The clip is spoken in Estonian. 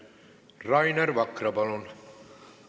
Rainer Vakra, palun!